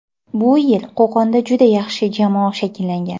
Bu yil Qo‘qonda juda yaxshi jamoa shakllangan.